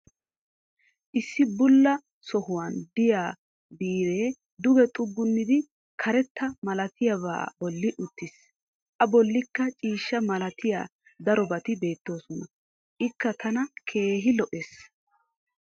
issi bulla sohuwan diya biiree duge xuggunidi karetta malattiyaaba bolli uttiis, a bolikka ciishsha malattiya darobati beetoososna. ikka tana keehi lo'ees.